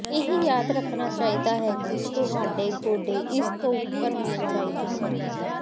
ਇਹ ਯਾਦ ਰੱਖਣਾ ਚਾਹੀਦਾ ਹੈ ਕਿ ਤੁਹਾਡੇ ਗੋਡੇ ਇਸ ਤੋਂ ਉੱਪਰ ਹੋਣੇ ਚਾਹੀਦੇ ਹਨ